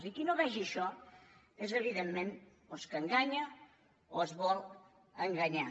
i qui no vegi això és evidentment doncs que enganya o es vol enganyar